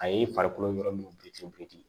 A ye farikolo yɔrɔ min ci